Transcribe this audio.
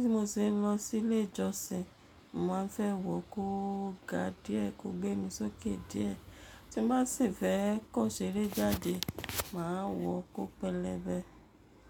Bí mo ṣe ń lọ sí ilé ìjọsìn, mo máa fẹ́ wò kó ga díẹ̀ kó gbé mi sókè díẹ̀. Tí n ba sì fẹ́ kan ṣeré jáde, màá wọ kó pẹlẹbẹ.